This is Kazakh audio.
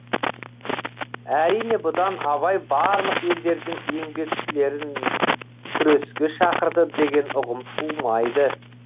әрине бұдан абай барлық елдердің еңбекшілерін күреске шақырды деген ұғым тумайды